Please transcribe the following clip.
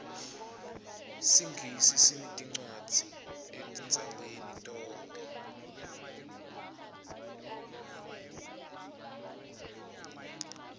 singisi sineticwadzi etindzaweni tonkhe